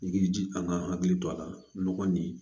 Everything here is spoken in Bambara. I k'i jija an ka hakili to a la nɔgɔ nin